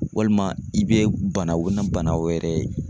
Walima i bɛ bana o na bana wɛrɛ ye